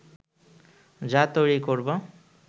যা তৈরি করবো